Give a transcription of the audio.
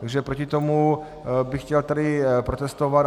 Takže proti tomu bych chtěl tady protestovat.